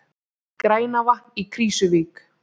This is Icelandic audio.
Grænavatn í Krýsuvík.